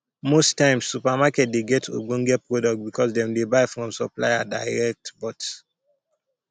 most times supermarket dey get ogbonge product because dem dey buy from supplier direct but